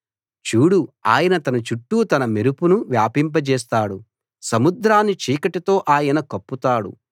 చూడు ఆయన తన చుట్టూ తన మెరుపును వ్యాపింపజేస్తాడు సముద్రాన్ని చీకటితో ఆయన కప్పుతాడు